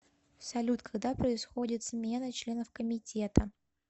салют когда происходит смена членов комитета